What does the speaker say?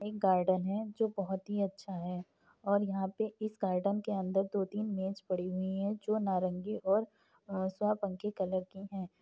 एक गार्डन है जो बहुत ही अच्छा है और यहाँ पे इस गार्डन के अन्दर दो तीन मेज पड़ी हुई हैं जो की नारंगी और कलर की हैं।